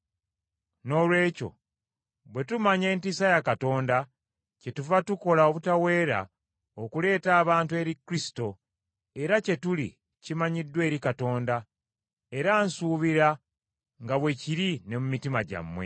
Noolwekyo bwe tumanya entiisa ya Katonda, kyetuva tukola obutaweera okuleeta abantu eri Kristo, era kye tuli kimanyiddwa eri Katonda, era nsuubira nga bwe kiri ne mu mitima gyammwe.